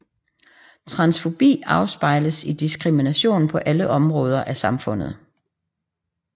Transfobi afspejles i diskrimination på alle områder af samfundet